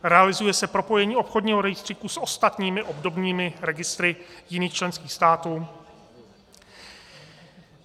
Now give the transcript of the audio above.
Realizuje se propojení obchodního rejstříku s ostatními obdobnými registry jiných členských států.